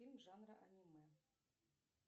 фильм жанра аниме